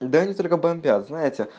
да они только бомбят знаете